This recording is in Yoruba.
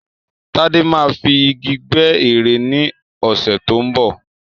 Tádé máa fi Igi gbẹ́ ère ni ọ̀sẹ̀ tó ń bọ̀.